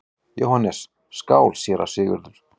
JÓHANNES: Skál, séra Sigurður!